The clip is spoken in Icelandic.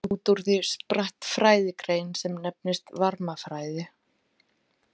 Út úr því spratt fræðigrein sem nefnist varmafræði.